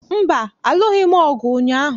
Mba, alụghị m ọgụ ụnyaahụ